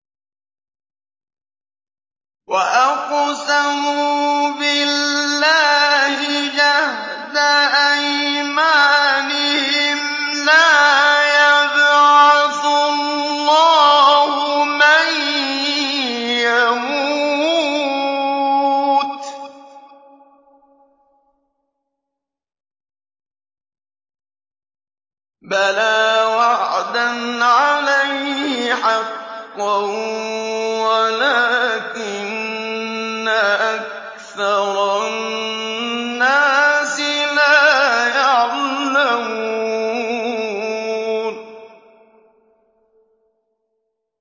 وَأَقْسَمُوا بِاللَّهِ جَهْدَ أَيْمَانِهِمْ ۙ لَا يَبْعَثُ اللَّهُ مَن يَمُوتُ ۚ بَلَىٰ وَعْدًا عَلَيْهِ حَقًّا وَلَٰكِنَّ أَكْثَرَ النَّاسِ لَا يَعْلَمُونَ